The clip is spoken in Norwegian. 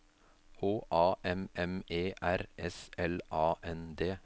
H A M M E R S L A N D